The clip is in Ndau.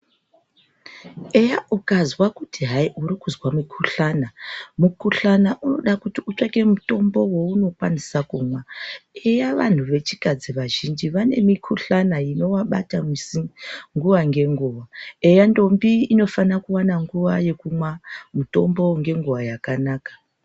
Eya ukanzwa kuti hai urikuzwa mukhuhlani, mukhuhlani unode kuti utsvake mutombo waunokwanisa kumwa. Eya vanhtu vechikadzi vazhinji vane mukhuhlani inovabata, misi nguwa ngenguwa. Eya ndombi inofanira kuwana nguwa yekumwa mitombo ngenguwa yakanaka.